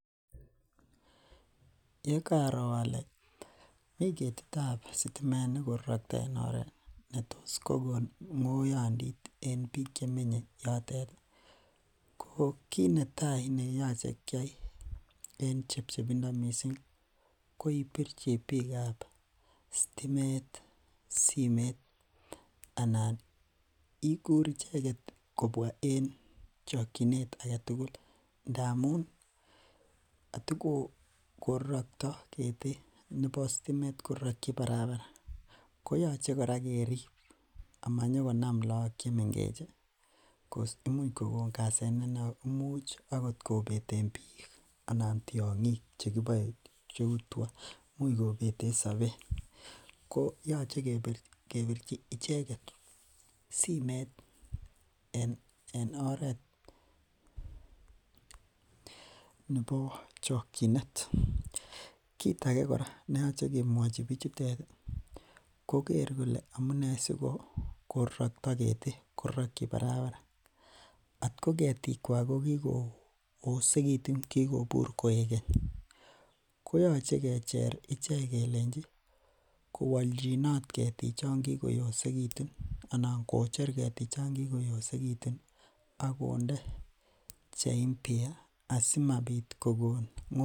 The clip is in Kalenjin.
Ye kaaro ale mi ketit ap sitimet ne korarakta en oret ne tos kokon ng'oyandit eng' piik che menye yotet, ko kiit ne tai ne makat keyai eng' chepchepindo missing'missing' ko ipirchi piik ap stimet simeet anan ikur icheget kopwa en chakchinet age tugul, ndamun ndatukoraraktai keti, nepo stimet, korarakchi parapara koyache kora kerip ama nyuko nam lagok che mengech amu imuch kokon asenet ne oo ne imuchi agot kopete piik anan tiang'ik che kipae, cheu tuga, sapeet. Ko yache kepirchi icheget simet en oret nepo chakchinet. Kiit age kora ne yache kemwachi pichutet keker kole une siko rarakta keti ,korarakchi parapara. Atko ketikwak ko kikoosekitu anan ko kikopur koek keny, koyache kecher ichek kelenchi kowalchinot ketik che kokoosekitu anan ko kocher ketichan kikoyosekitu ak konde che mpya asimapit kokon ng'oiyandit.